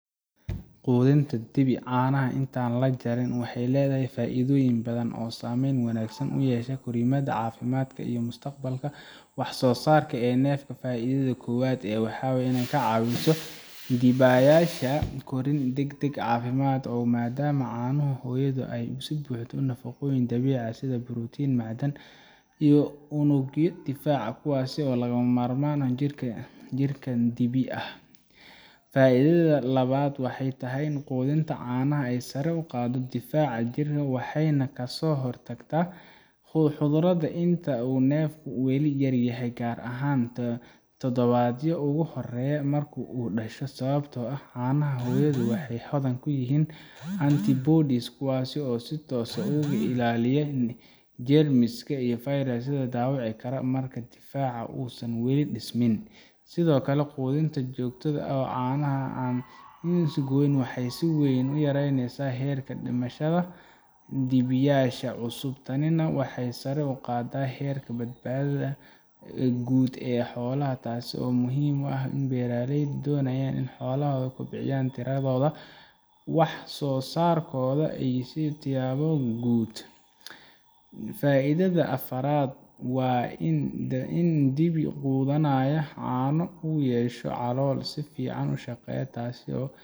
quudinta dibi caanaha inta aan la jarin waxay leedahay faa'iidooyin badan oo saameyn wanaagsan ku yeesha korriimada caafimaadka iyo mustaqbalka wax soo saar ee neefka faa’iidada koowaad waa in ay ka caawiso dibiyaasha korriin degdeg ah oo caafimaad leh maadaama caanaha hooyadu ay ka buuxaan nafaqooyin dabiici ah sida borotiinno macdan iyo unugyo difaac ah kuwaas oo lagama maarmaan u ah jirka dibi yar faa’iidada labaad waxay tahay in quudinta caanaha ay sare u qaaddo difaaca jirka waxayna ka hortagtaa cudurrada inta uu neefku weli yaryahay gaar ahaan toddobaadyada ugu horreeya marka uu dhasho sababtoo ah caanaha hooyadu waxay hodan ku yihiin antibodies kuwaas oo si toos ah uga ilaaliya neefka jeermiska iyo fayrasyada dhaawici kara marka difaaciisa uusan weli dhismin sidoo kale quudinta joogtada ah ee caanaha inta aan la goyn waxay si weyn u yaraynaysaa heerka dhimashada dibiyaasha cusub tanina waxay sare u qaaddaa heerka badbaadada guud ee xoolaha taas oo muhiim u ah beeraleyda doonaya inay xoolahooda kobciyaan tiradooda wax soo saarkooda iyo tayadooda guud faa’iidada afraad waa in dibi quudanaya caano uu yeesho calool si fiican u shaqeysa taas oo